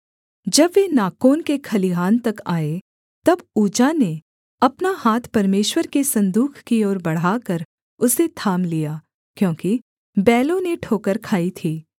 जब वे नाकोन के खलिहान तक आए तब उज्जा ने अपना हाथ परमेश्वर के सन्दूक की ओर बढ़ाकर उसे थाम लिया क्योंकि बैलों ने ठोकर खाई थी